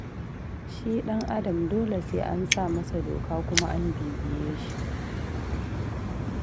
Shi ɗan'adam dole sai an sa masa doka kuma an bibiye shi.